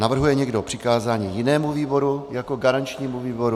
Navrhuje někdo přikázání jinému výboru jako garančnímu výboru?